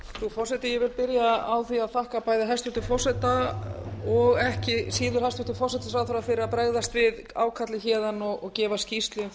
vil byrja á því að þakka bæði hæstvirtan forseta og ekki síður hæstvirtur forsætisráðherra fyrir að bregðast við ákalli héðan og gefa skýrslu um